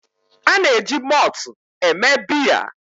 A na-eji mọọtụ mee biya